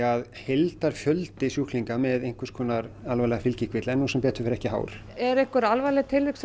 af heildarfjöldi sjúklinga með einhvers konar alvarlega fylgikvilla er nú sem betur fer ekki hár eru einhver alvarleg tilvik